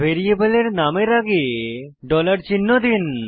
ভ্যারিয়েবলের নামের আগে ডলার চিহ্ন দিন